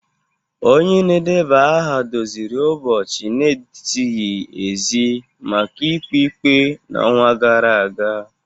Onye na-edeba aha doziri ụbọchị na-ezighi ezi maka ikpe ikpe n'ọnwa gara aga